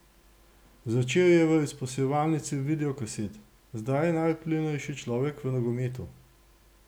Začel je v izposojevalnici videokaset, zdaj je najvplivnejši človek v nogometu.